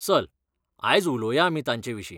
चल, आयज उलोवया आमी तांचेविशीं.